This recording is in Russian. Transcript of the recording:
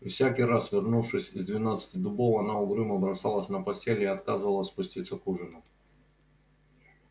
и всякий раз вернувшись из двенадцати дубов она угрюмо бросалась на постель и отказывалась спуститься к ужину